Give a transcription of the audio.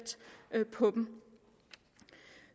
på dem